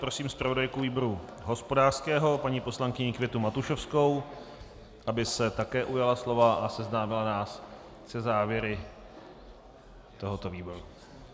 Prosím zpravodajku výboru hospodářského paní poslankyni Květu Matušovskou, aby se také ujala slova a seznámila nás se závěry tohoto výboru.